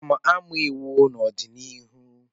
M ga-amụ iwu n'ọdịnihu.